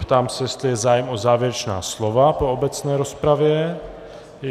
Ptám se, jestli je zájem o závěrečná slova po obecné rozpravě?